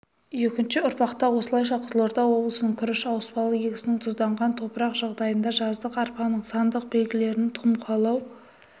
екінші ұрпақта осылайша қызылорда облысының күріш ауыспалы егісінің тұзданған топырақ жағдайында жаздық арпаның сандық белгілерінің тұқым қуалау